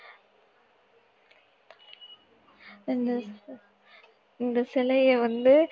இந்த இந்த சிலையை வந்து